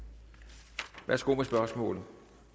værsgo med spørgsmålet